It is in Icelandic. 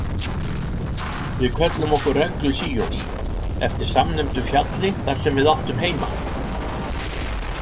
Við kölluðum okkur Reglu Síons eftir samnefndu fjalli þar sem við áttum heima.